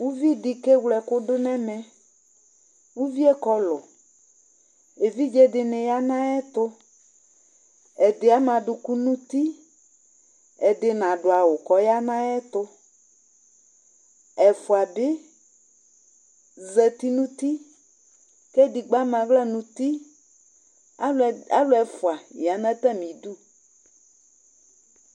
Uvi dɩ okewle ɛkʋdʋ nʋ ɛmɛ Uvi yɛ ɔkɔlʋ Evidze dɩnɩ aya nʋ ayʋ ɛtʋ Ɛdɩ ama adʋkʋ nʋ uti Ɛdɩ nadʋ awʋ kʋ ɔya nʋ ayʋ ɛtʋ Ɛfʋa bɩ azǝtɩ nʋ uti, kʋ edigbo ama aɣla nʋ uti Alʋ ɛfʋa aya nʋ atamɩ ɩdʋ